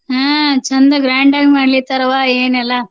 ಹ್ಮ್ ಚಂದ grand ಆಗಿ ಮಾಡ್ಲಿಕತ್ತಾರ್ವ್ವ ಏನೆಲ್ಲಾ.